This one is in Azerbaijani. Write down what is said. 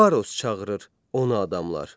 Faros çağırır ona adamlar.